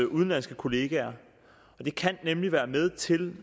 udenlandske kollegaer det kan nemlig være med til